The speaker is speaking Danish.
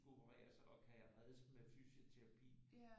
At skulle opereres og kan jeg reddes med fysioterapi